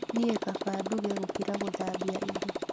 Niĩ kaba nduge gũkĩra gũthambia indo